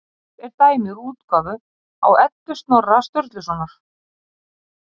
Hér er dæmi úr útgáfu á Eddu Snorra Sturlusonar.